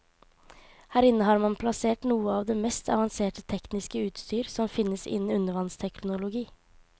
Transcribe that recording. Her inne har man plassert noe av det mest avanserte tekniske utstyr som finnes innen undervannsteknologi.